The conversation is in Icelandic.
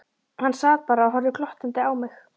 Hann sat bara og horfði glottandi á mig.